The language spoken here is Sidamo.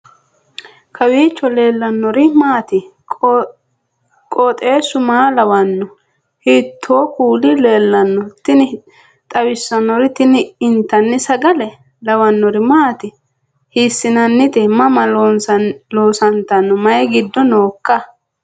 kowiicho leellannori maati ? qooxeessu maa lawaanno ? hiitoo kuuli leellanno ? tini xawissannori tini intanni sagale lawannori maati hiissinannite mama loosantanno mayi giddo nooikka